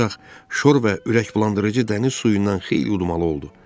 Ancaq şor və ürəkbulandırıcı dəniz suyundan xeyli udmalı oldu.